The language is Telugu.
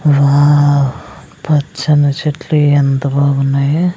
వావ్ పచ్చని చెట్లు ఎంత బావున్నాయి.